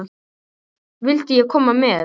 Vildi ég koma með?